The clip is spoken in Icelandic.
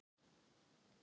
Og víða svörðinn með.